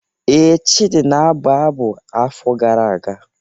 Ee, Chidi na-abụ abụ afọ gara aga.